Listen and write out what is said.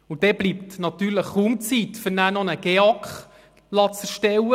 Dann bleibt natürlich kaum Zeit, noch einen GEAK erstellen zu lassen.